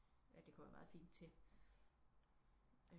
At det kunne være meget fint til